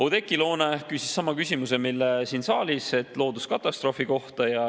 Oudekki Loone küsis sama küsimuse, mille ta siin saalis esitas looduskatastroofi kohta.